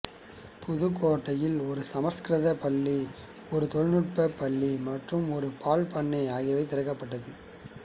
புதுக்கோட்டையில் ஒரு சமசுகிருத பள்ளி ஒரு தொழில்நுட்ப பள்ளி மற்றும் ஒரு பால் பண்ணை ஆகியவை திறக்கப்பட்டது